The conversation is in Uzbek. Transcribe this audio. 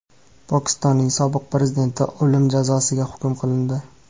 Pokistonning sobiq prezidenti o‘lim jazosiga hukm qilindi.